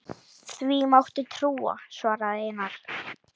Því máttu trúa, svaraði Einar.